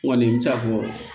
N kɔni n bɛ ca fɔ